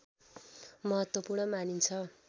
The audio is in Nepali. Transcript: महत्त्वपूर्ण मानिन्छ